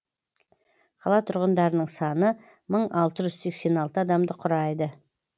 қала тұрғындарының саны мың алты жүз сексен алты адамды құрайды